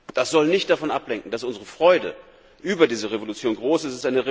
Das soll nicht davon ablenken, dass unsere Freude über diese Revolution groß ist.